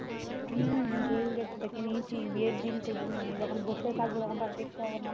হম ঘুরে ঘুরে দেখে নিয়েছি বিয়ের দিন টুকু যখন মানে বসে থাকবো তখন তো আর দেখতে পাবো না